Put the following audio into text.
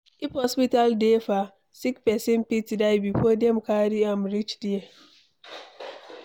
If hospital dey far, sick pesin fit die before Dem carry am reach there